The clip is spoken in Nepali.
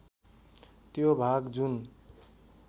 त्यो भाग जुन